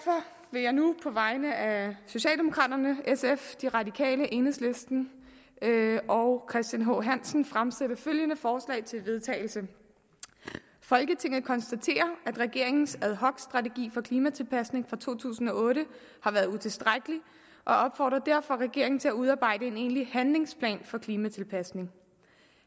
vil jeg nu på vegne af socialdemokraterne sf de radikale enhedslisten og christian h hansen fremsætte følgende forslag til vedtagelse folketinget konstaterer at regeringens ad hoc strategi for klimatilpasning fra to tusind og otte har været utilstrækkelig og opfordrer derfor regeringen til at udarbejde en egentlig handlingsplan for klimatilpasning